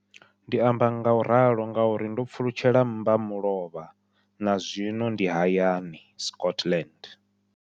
Ndi amba ngauralo nga uri ndo pfulutshela mmbamulovha na zwino ndi hayani, Scotland.